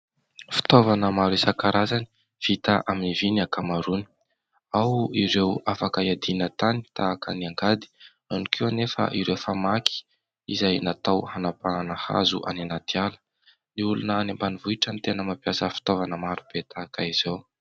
Fitaovana maro isan-karazany vita amin'ny vy ny ankamaroany. Ao ireo afaka hiadiana tany tahaka ny angady, ao koa anefa ireo famaky izay natao hanapahana hazo any anaty ala. Ny olona any ambanivohitra no tena mampiasa fitaovana maro be tahaka izao.